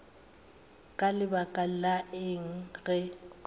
ka lebaka la eng ge